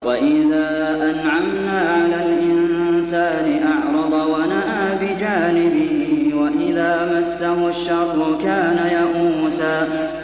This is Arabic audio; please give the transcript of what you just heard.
وَإِذَا أَنْعَمْنَا عَلَى الْإِنسَانِ أَعْرَضَ وَنَأَىٰ بِجَانِبِهِ ۖ وَإِذَا مَسَّهُ الشَّرُّ كَانَ يَئُوسًا